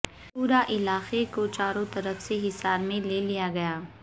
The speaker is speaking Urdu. پورا علاقے کو چاروں طرف سے حصار میں لے لیا گیا